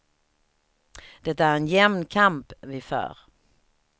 Det är en jämn kamp vi för.